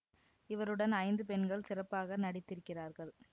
இவருடன் ஐந்து பெண்கள் சிறப்பாக நடித்திருக்கிறார்கள்